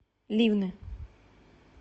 ливны